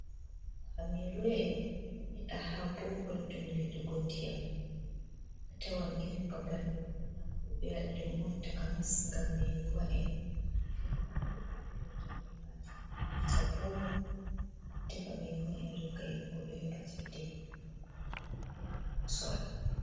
Hameruwa'en don yida ha bohol dum nyedugo ndiyam ,atawan irin babal do burna fu be wadi dum on takanas gam meruwa’en filu on goddo filirta be majum o irta bohol wo tefa meruwaen ringa yahugo du heba cheide ,don yida ndiyam man nam yawugo sorra.